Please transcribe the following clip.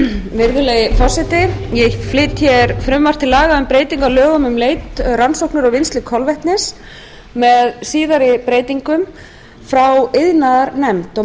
ég flyt hér frumvarp til laga um breytingu á lögum um leit rannsóknir og vinnslu kolvetnis með síðari breytingum frá iðnaðarnefnd og